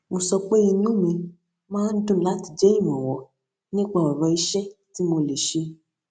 mo sọ pé inú mi máa ń dùn láti jẹ ìrànwọ nípa ọrọ iṣẹ tí mo lè ṣe